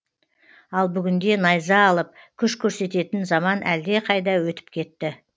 ал бүгінде найза алып күш көрсететін заман әлде қайда өтіп кетті